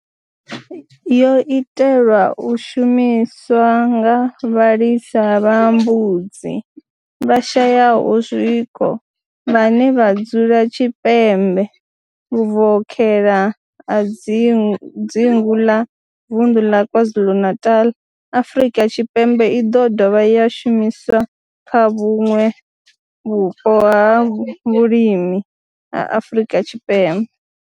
yo itelwa u shumiswa nga vhalisa vha mbudzi vhashayaho zwiko vhane vha dzula tshipembe vhuvokhela ha dzingu la Vundu la KwaZulu-Natal, Afrika Tshipembe i do dovha ya shumiswa kha vhuṋwe vhupo ha vhulimi ha Afrika Tshipembe.